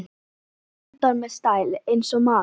Eldar með stæl- eins og maður!